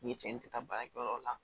Ni cɛn tɛ taa baarakɛyɔrɔ la